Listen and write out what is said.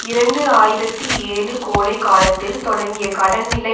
இரண்டு ஆயிரத்தி ஏழு கோடை காலத்தில் தொடங்கிய கடன்நிலை